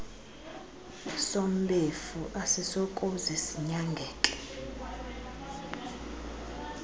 sombefu asisokuze sinyangeke